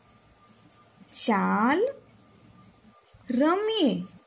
ચાલ રમીએ